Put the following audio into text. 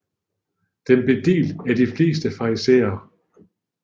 Den blev delt af de fleste farisæere